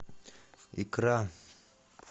икра